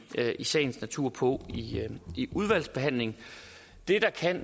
i sagens natur på i udvalgsbehandlingen det der kan